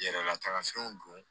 Yɛrɛlataga fɛnw don